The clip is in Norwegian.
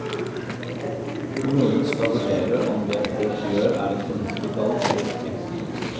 Kommunen skal vurdere om det folk gjør er et fornuftig valg eller ikke.